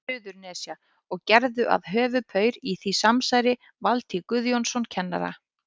Suðurnesja, og gerðu að höfuðpaur í því samsæri Valtý Guðjónsson kennara.